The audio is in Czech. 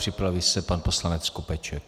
Připraví se pan poslanec Skopeček.